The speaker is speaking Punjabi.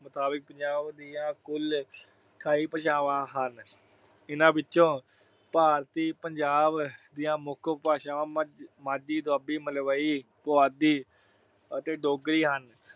ਮੁਤਾਬਕ ਪੰਜਾਬ ਦੀਆਂ ਕੁੱਲ ਅਠਾਈ ਭਾਸ਼ਾਵਾਂ ਹਨ। ਇਹਨਾਂ ਵਿੱਚੋਂ ਭਾਰਤੀ ਪੰਜਾਬ ਦੀਆਂ ਮੁੱਖ ਉਪ ਭਾਸ਼ਾਵਾਂ ਮਾਝੀ, ਦੁਆਬੀ, ਮਲਵਈ, ਪੁਆਧੀ ਅਤੇ ਡੋਗਰੀ ਹਨ।